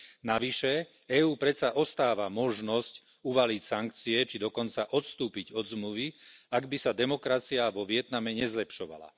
Navyše EÚ predsa ostáva možnosť uvaliť sankcie, či dokonca odstúpiť od zmluvy, ak by sa demokracia vo Vietname nezlepšovala.